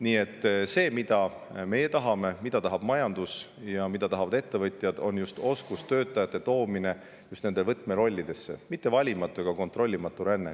Nii et see, mida meie tahame, mida tahab majandus ja mida tahavad ettevõtjad, on oskustöötajate toomine just võtmerollidesse, mitte valimatu ega kontrollimatu ränne.